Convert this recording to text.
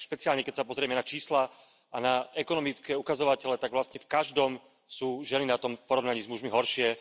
Ak špeciálne, keď sa pozrieme na čísla a na ekonomické ukazovatele, tak vlastne v každom sú ženy na tom v porovnaní s mužmi horšie.